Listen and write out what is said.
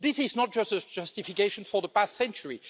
This is not just a justification for the past century.